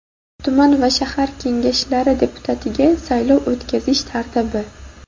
tuman va shahar Kengashlari deputatligiga saylov o‘tkazish tartibi.